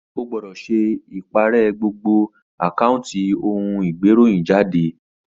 Ó gbõdõ sé iparè gbogbo àkáunti ohun igberohinjade lōlao gbọ́dọ̀ pá gbogbo ìkànnlé tí ó ní lórí ìtàkùn ìbánidọ́rẹ́ rẹ.